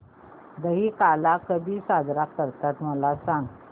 दहिकाला कधी साजरा करतात मला सांग